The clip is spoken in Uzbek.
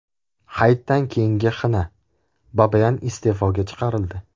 Hayitdan keyingi xina: Babayan iste’foga chiqarildi .